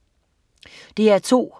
DR2: